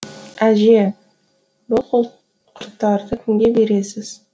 әже бұл құрттарды кімге бересіз